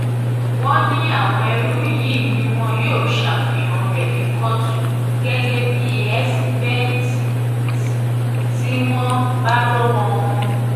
wọ́n ní àwọn ẹrú yìí ni wọn yóò ṣàfihàn rẹ̀ ní kóòtù gẹ́gẹ́ bíi ẹ̀síbẹ́ìtì tí wọ́n bá lọ́wọ́ wọn